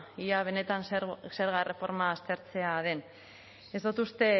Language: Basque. ea benetan zerga erreforma aztertzea den ez dut uste